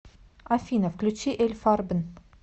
афина включи эль фарбен